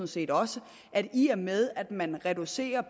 set også at i og med man reducerer